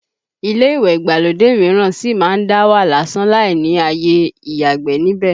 Ilé ìwẹ̀ ìgbàlódé mìíràn sì má ń dá wà lásán láì ni àyè ìyàgbẹ̀ níbẹ̀